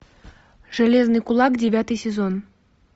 железный кулак девятый сезон